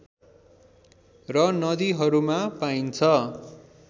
र नदीहरूमा पाइन्छ